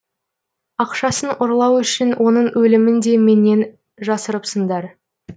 ақшасын ұрлау үшін оның өлімін де менен жасырыпсыңдар